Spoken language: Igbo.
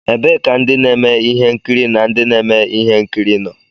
Ebee ka ndị na-eme ihe nkiri na ndị na-eme ihe nkiri nọ?